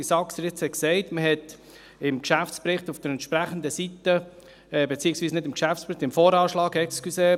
– Wie es Grossrat Saxer gesagt hat, hat man im VA auf der entsprechenden Seite die Zahlen gesehen.